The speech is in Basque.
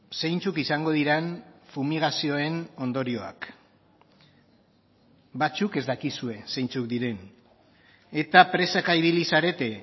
zeintzuk izango diren fumigazioen ondorioak batzuk ez dakizue zeintzuk diren eta presaka ibili zarete